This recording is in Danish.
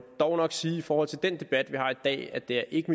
dog nok sige i forhold til den debat vi har i dag at det ikke